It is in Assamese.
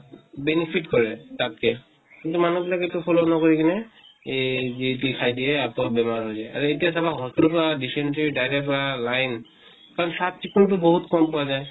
benefit কৰে তাত্কে। কিন্তু মানুহ বিলাকে এইটো follow নকৰি কিনে এহ যি তি খাই দিয়ে। বহুত বেমাৰ হৈ যায়। আৰু এতিয়া চাবা hospital ত পুৰা dysentery diarrhea হোৱা line | তাত চাফ চিকুন টো বহুত কম পোৱা যায়।